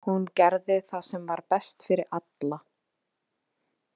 Hún gerði það sem var best fyrir alla.